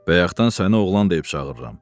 Bayaqdan səni oğlan deyib çağırıram.